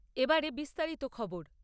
এবারে বিস্তারিত খবর